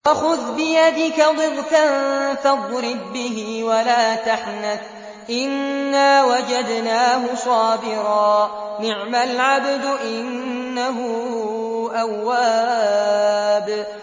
وَخُذْ بِيَدِكَ ضِغْثًا فَاضْرِب بِّهِ وَلَا تَحْنَثْ ۗ إِنَّا وَجَدْنَاهُ صَابِرًا ۚ نِّعْمَ الْعَبْدُ ۖ إِنَّهُ أَوَّابٌ